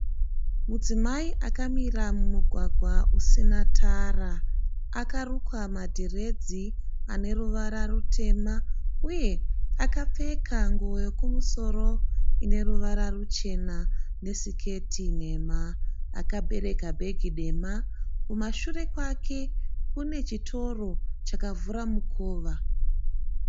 Mudzimai akamira mumugwagwa usina tara. Akarukwa madhiredzi aneruvara rutema uye akapfeka nguwo yekumusoro ine ruvara ruchena nesiketi nhema. Akabereka bhegi dema. Kumashure kwake kune chitoro chakavhura mukova.